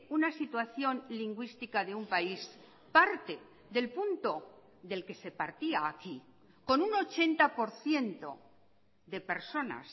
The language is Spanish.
una situación lingüística de un país parte del punto del que se partía aquí con un ochenta por ciento de personas